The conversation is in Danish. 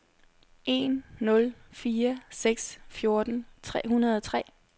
en nul fire seks fjorten tre hundrede og tre